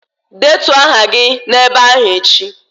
Detuo aha gị ebe ahụ echi!